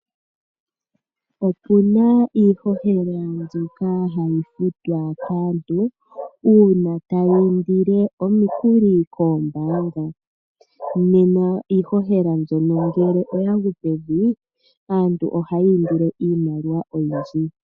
Opuna iihohela mbyoka hayi futhwa kaantu una taya indile omikuli kombaanga. Nena iihohela mbyono ngele oyagu pevi aantu ohaya indile iimaliwa oyindji.